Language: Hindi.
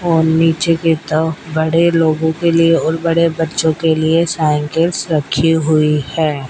और नीचे किताब बड़े लोगों के लिए और बड़े बच्चों के लिए साइकिल्स रखी हुई है।